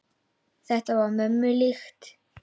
Þetta var mömmu líkt.